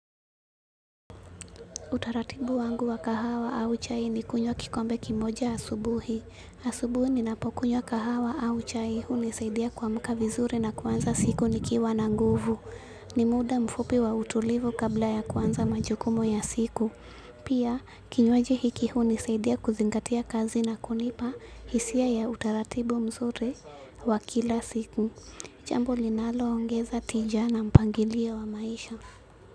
Utaratibu wangu wa kahawa au chai ni kunywa kikombe kimoja asubuhi. Asubuhi ninapokunywa kahawa au chai hunisaidia kuamka vizuri na kuanza siku nikiwa na nguvu. Ni mda mfupi wa utulivu kabla ya kuanza majukumu ya siku. Pia, kinywaji hiki hunisaidia kuzingatia kazi na kunipa hisia ya utaratibu mzuri wa kila siku. Jambo linalo ongeza tija na mpangilio wa maisha.